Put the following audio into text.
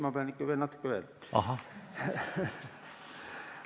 Ma pean ikka natuke veel rääkima.